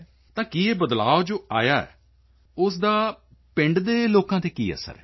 ਤਾਂ ਕੀ ਇਹ ਬਦਲਾਅ ਜੋ ਆਇਆ ਹੈ ਉਸ ਦਾ ਪਿੰਡਾਂ ਦੇ ਲੋਕਾਂ ਤੇ ਕੀ ਅਸਰ ਹੈ